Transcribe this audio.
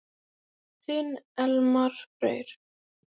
Þinn Elmar Freyr.